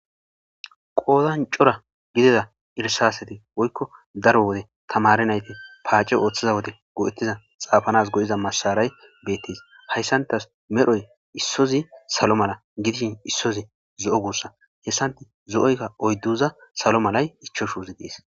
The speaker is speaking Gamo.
qoodancora gidida irsaseti woykko daro wode tamare nayti paace ooththiza wode go7ettiza xaafanas go7iza masaray beettes hayssantas medhoy issozi salo mala gidishin issozi zo7o gussa hessanti zo7oykka oydduza salo malay ichoshuuzi dees